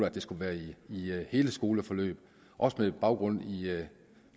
at det skulle være i hele skoleforløb også med baggrund i